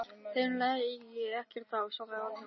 Þeim lægi ekkert á, svaraði Valdimar.